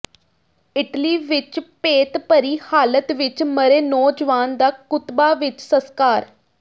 Italy ਵਿੱਚ ਭੇਤਭਰੀ ਹਾਲਤ ਵਿੱਚ ਮਰੇ ਨੌਜਵਾਨ ਦਾ ਕੁਤਬਾ ਵਿੱਚ ਸਸਕਾਰ